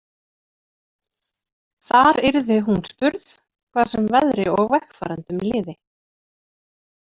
Þar yrði hún spurð, hvað sem veðri og vegfarendum liði.